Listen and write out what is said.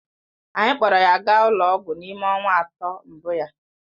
Anyị kpọọrọ ya gaa ụlọ ọgwụ n'ime ọnwa atọ mbụ ya